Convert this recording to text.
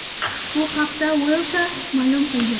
Bu haqda Wylsa ma’lum qilgan .